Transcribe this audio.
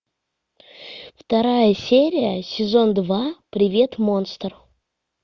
вторая серия сезон два привет монстр